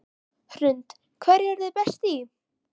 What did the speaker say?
Hrund: Hverju eruð þið best í?